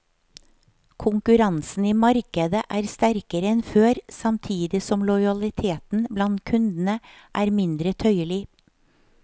Konkurransen i markedet er sterkere enn før samtidig som lojaliteten blant kundene er mindre tøyelig.